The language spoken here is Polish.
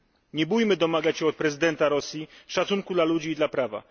Nie bójmy się domagać od prezydenta Rosji szacunku dla ludzi i prawa.